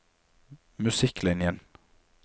musikklinjen